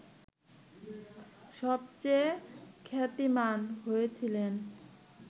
সবচেয়ে খ্যাতিমান হয়েছিলেন